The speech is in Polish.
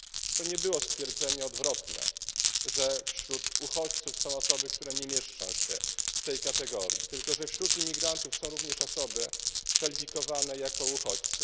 To nie było stwierdzenie odwrotne, że wśród uchodźców są osoby, które nie mieszczą się w tej kategorii, tylko że wśród imigrantów są również osoby kwalifikowane jako uchodźcy.